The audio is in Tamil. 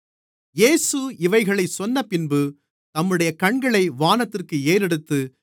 இயேசு இவைகளைச் சொன்னபின்பு தம்முடைய கண்களை வானத்திற்கு ஏறெடுத்து